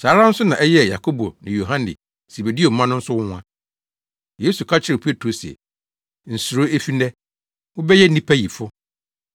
Saa ara nso na ɛyɛɛ Yakobo ne Yohane, Sebedeo mma no nso nwonwa. Yesu ka kyerɛɛ Petro se, “Nsuro efi nnɛ, wobɛyɛ nnipayifo.”